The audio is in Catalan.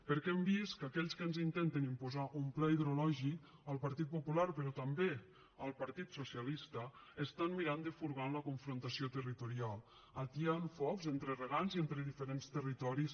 perquè hem vist que aquells que ens intenten imposar un pla hidrològic el partit popular però també el partit socialista estan mirant de furgar en la confrontació territorial atiant focs entre regants i entre diferents territoris